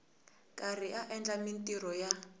karhi a endla mintirho ya